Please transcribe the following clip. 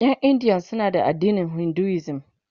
Ƴan India suna da addinin Hinduism